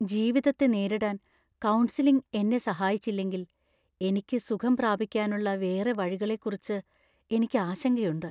ജീവിതത്തെ നേരിടാൻ കൗൺസിലിംഗ് എന്നെ സഹായിച്ചില്ലെങ്കിൽ എനിക്ക് സുഖം പ്രാപിക്കാനുള്ള വേറെ വഴികളെക്കുറിച്ച് എനിക്ക് ആശങ്കയുണ്ട്.